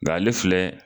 Nga ale filɛ